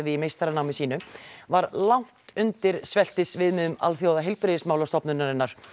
í meistaranámi sínu var langt undir Alþjóðaheilbrigðismálastofnunarinnar